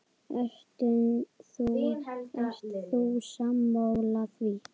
Ert þú sammála því?